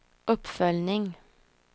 uppföljning